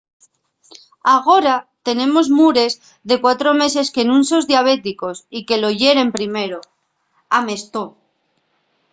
agora tenemos mures de 4 meses que nun son diabéticos y que lo yeren primero,” amestó